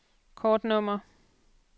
kortnummer